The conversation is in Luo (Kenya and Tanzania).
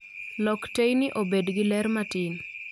Lok teyni obed gi ler matin